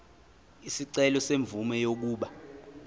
isicelo semvume yokuba